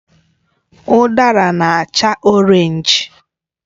Udara na acha Orénj